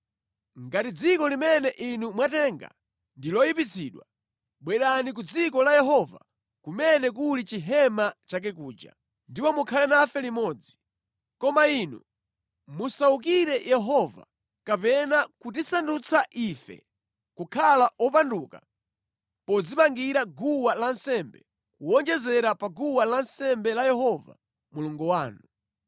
Ngati dziko limene inu mwatenga ndi loyipitsidwa, bwerani ku dziko la Yehova kumene kuli chihema chake kuja, ndipo mukhale nafe limodzi. Koma inu musawukire Yehova kapena kutisandutsa ife kukhala opanduka podzimangira guwa lansembe, kuwonjezera pa guwa lansembe la Yehova Mulungu wanu.